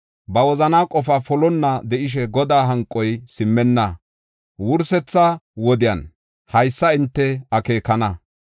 Ba wozanaa qofaa polonna de7ishe, Godaa hanqoy simmenna. Wursetha wodiyan haysa hinte akeekana.